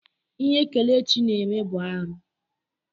Ihe Kelechi na-eme bụ ihe arụ.